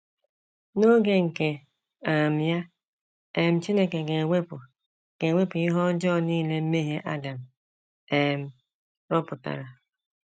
N’oge nke um ya, um Chineke ga - ewepụ ga - ewepụ ihe ọjọọ nile mmehie Adam um rụpụtara.